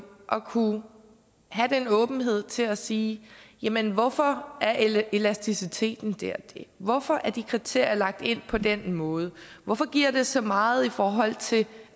at kunne have den åbenhed til at kunne sige jamen hvorfor er elasticiteten det og det hvorfor er de kriterier lagt ind på den måde hvorfor giver det så meget i forhold til